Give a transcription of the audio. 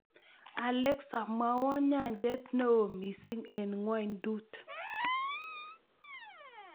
Alexa mwawon nyanjet ne oo miising' eng ngwonydut